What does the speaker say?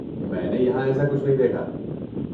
میں نے یہاں ایسا کچھ نہیں دیکھا۔